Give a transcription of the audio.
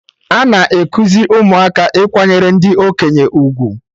Ana ekuzi ụmụaka Ikwanyere ndị okenye ugwu